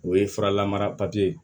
O ye fura lamara papiye